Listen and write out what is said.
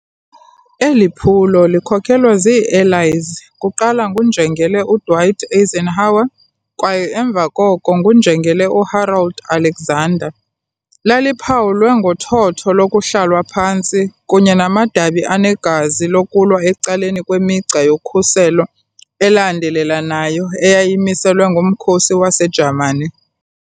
Eli phulo, likhokelwa ziiAllies kuqala nguNjengele uDwight Eisenhower kwaye emva koko nguNjengele uHarold Alexander, laliphawulwe ngothotho lokuhlalwa phantsi kunye namadabi anegazi lokulwa ecaleni kwemigca yokhuselo elandelelanayo eyamiselwa ngumkhosi waseJamani .